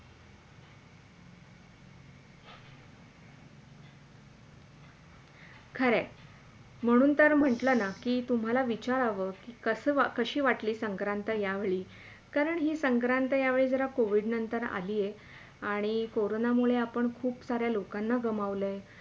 खरं म्हणून तर म्हटल ना कि तुम्हाला विचाराव की कशी वाटली संक्रांत या वेळी कारण ही संक्रांत या वेळी जरा COVID नंतर आली आहे आणि कोरोना मुळे आपण खूप साऱ्या लोकांना गमावलय